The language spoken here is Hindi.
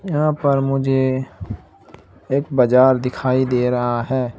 यहाँ पर मुझे एक बाज़ार दिखाई दे रहा है।